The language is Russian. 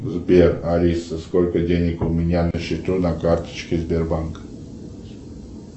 сбер алиса сколько денег у меня на счету на карточке сбербанка